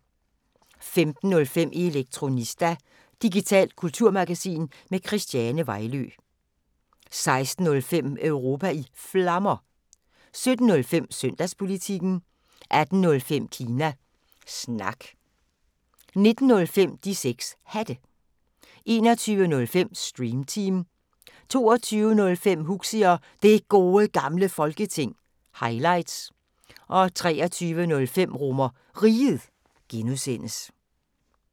15:05: Elektronista – digitalt kulturmagasin med Christiane Vejlø 16:05: Europa i Flammer 17:05: Søndagspolitikken 18:05: Kina Snak 19:05: De 6 Hatte 21:05: Stream Team 22:05: Huxi og Det Gode Gamle Folketing – highlights 23:05: RomerRiget (G)